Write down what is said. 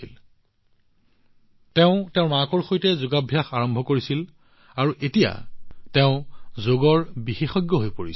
তাই তাইৰ মাকৰ সৈতে যোগাভ্যাস আৰম্ভ কৰিছিল আৰু এতিয়া তাই যোগৰ বিশেষজ্ঞ হৈ পৰিছে